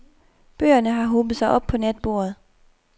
Bøgerne har hobet sig op på natbordet.